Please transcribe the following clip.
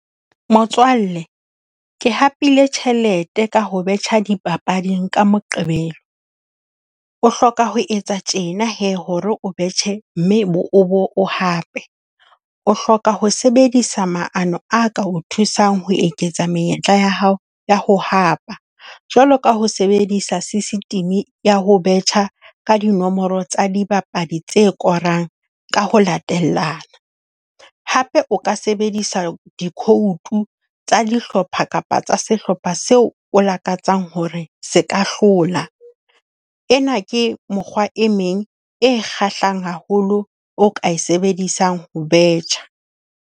Motswalle, ke hapile tjhelete ka ho betjha dipapading ka Moqebelo. O hloka ho etsa tjena hee hore o betjhe, mme o bo o hape. O hloka ho sebedisa maano a ka o thusang ho eketsa menyetla ya hao ya ho hapa jwalo ka ho sebedisa system ya ho betjha ka dinomoro tsa dibapadi tse korang ka ho latela. Hape o ka sebedisa di-code tsa dihlopha kapa tsa sehlopha seo o lakatsang hore se ka hlola. Ena ke mokgwa e meng e kgahlisang haholo o ka e sebedisang ho betjha.